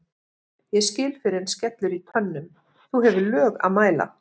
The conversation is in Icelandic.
ég skil fyrr en skellur í tönnum þú hefur lög að mæla